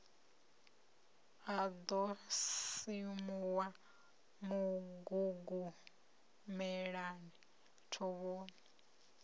a ḓo simuwa mugugumelani thovhoni